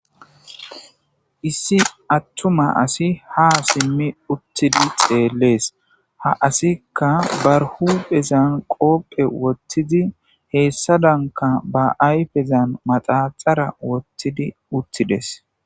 Issi attuma asi ha simmi uttidi xeellees ha asikka barhu phezan qoopphe wottidi heessadanka ba ayfezan maxaxara wottidi uttides.